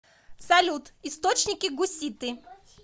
салют источники гуситы